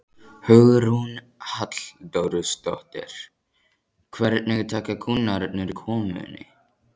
Hugrún Halldórsdóttir: Hvernig taka kúnnarnir komunni?